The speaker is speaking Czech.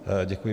Děkuji.